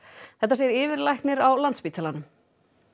þetta segir yfirlæknir á Landspítalanum